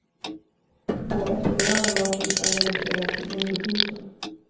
På eftermiddagen var siffran reducerad till under tusen.